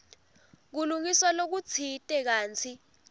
kulungiswa lokutsite kantsi